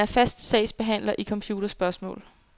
Han er fast sagsbehandler i computerspørgsmål.